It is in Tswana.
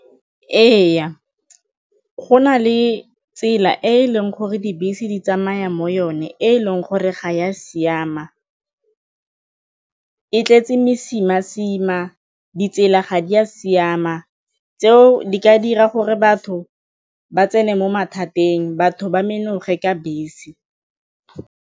Ee, go na le tsela e e leng gore dibese di tsamaya mo yone e e leng gore ga e a siama, e tletse mesima-sima, ditsela ga di a siama, tseo di ka dira gore batho ba tsene mo mathateng batho ba menoge ka bese.